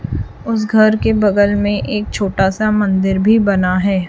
उस घर के बगल में एक छोटा सा मंदिर भी बना है।